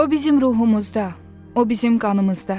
O bizim ruhumuzda, o bizim qanımızda.